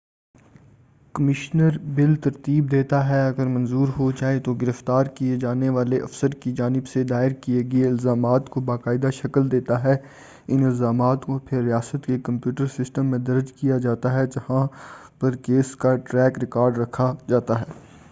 commissioner bill ترتیب دیتا ہے اگر منظور ہوجائے اور گرفتار کیے جانے والے افسر کی جانب سے دائر کیے گئے الزامات کو باقاعدہ شکل دیتا ہے ان الزامات کو پھر ریاست کے کمپیوٹر سسٹم میں درج کیا جاتا ہے جہاں پر کیس کا ٹریک ریکارڈ رکھا جاتا ہے